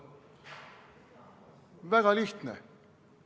Väga lihtne.